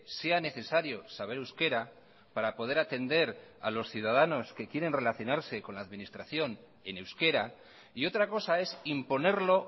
sea necesario saber euskera para poder atender a los ciudadanos que quieren relacionarse con la administración en euskera y otra cosa es imponerlo